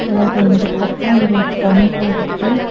அதோட இந்த பக்கம் ஒரு டெம்போ இருக்கு.